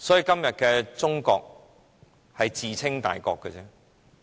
今天的中國，只是自稱大國而已。